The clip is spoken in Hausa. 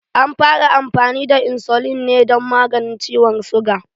An fara amfani da insulin ne dan maganin ciwon suga